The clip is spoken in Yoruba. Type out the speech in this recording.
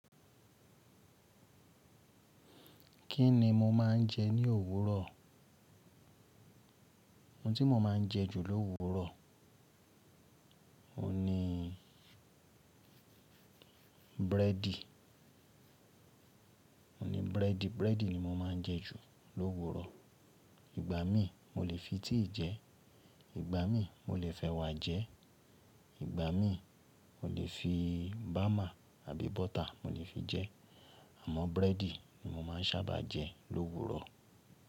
Kí ni mo máa ń jẹ ní òwúrọ̀? Ohun tí mo máa ń jẹ jù l'òwúrò, òun ni búrẹ́dì. Búrẹ́dì ni mo máa ń jẹ jù l'òwúrò. Ìgbà mí mo lè fi tíì jẹ, ìgbà mí mo lè f'ẹwà jẹ, ìgbà mí mo lè fi bámà àbí bọ́tà mo lè fi jẹ, àmọ́ búrẹ́dì ni mo máa ń sábà jẹ l'òwúrò.